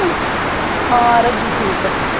ਹਾਂ ਰੱਜ਼ੀ ਠੀਕ ਹੈ